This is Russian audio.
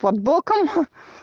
под боком ха